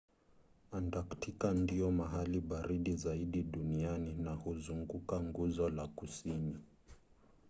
antaktika ndio mahali baridi zaidi duniani na huzunguka nguzo la kusini